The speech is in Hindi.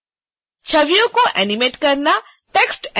छवियों को एनीमेट करना टेक्स्ट एनीमेशन करना